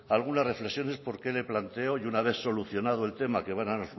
algunas reflexiones por qué le planteo y una vez solucionado el tema que van a